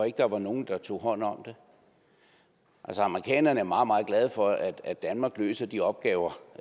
ikke var var nogen der tog hånd om amerikanerne er meget meget glade for at danmark løser de opgaver